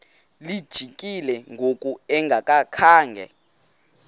lijikile ngoku engakhanga